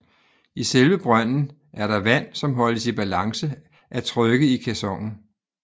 I selve brønden er der vand som holdes i balance af trykket i caissonen